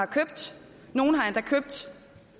købt